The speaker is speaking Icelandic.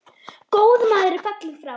Góður maður er fallinn frá.